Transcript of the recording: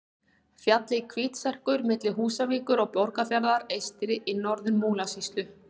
Fjallið Hvítserkur milli Húsavíkur og Borgarfjarðar eystri í Norður-Múlasýslu.